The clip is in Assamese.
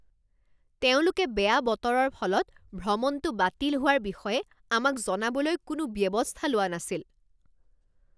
তেওঁলোকে বেয়া বতৰৰ ফলত ভ্ৰমণটো বাতিল হোৱাৰ বিষয়ে আমাক জনাবলৈ কোনো ব্যৱস্থা লোৱা নাছিল।